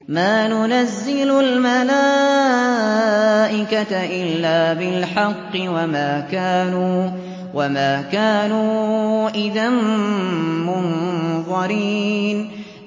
مَا نُنَزِّلُ الْمَلَائِكَةَ إِلَّا بِالْحَقِّ وَمَا كَانُوا إِذًا مُّنظَرِينَ